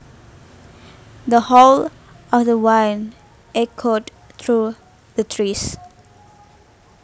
The howl of the wind echoed through the trees